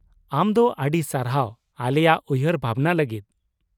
ᱟᱢ ᱫᱚ ᱟᱹᱰᱤ ᱥᱟᱨᱦᱟᱣ ᱟᱞᱮᱭᱟᱜ ᱩᱭᱦᱟᱹᱨ ᱵᱷᱟᱵᱱᱟ ᱞᱟᱹᱜᱤᱫ ᱾